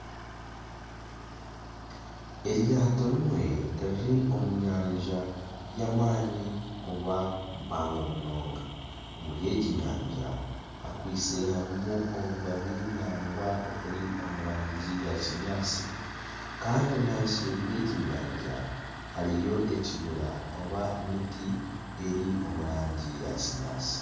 Eryato rimwe riri omu nyanja y'amaani oba mpango munonga. Omuri egi nyanja hakwaitse harimu obubabi nangwa oburi omu rangi ya kinyaatsi kandi na nseeri y'egi nyanja hariyo ekibira oba emiti eri omu rangi ya kinyaatsi.